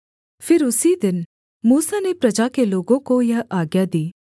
फिर उसी दिन मूसा ने प्रजा के लोगों को यह आज्ञा दी